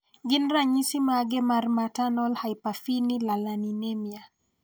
gin ranyisi mage mar Maternal hyperphenylalaninemia?